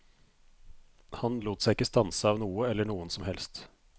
Han lot seg ikke stanse av noe eller noen som helst.